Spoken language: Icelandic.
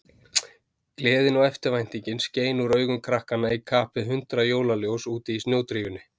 Gleðin og eftirvæntingin skein úr augum krakkanna í kapp við hundrað jólaljós úti í snjódrífunni.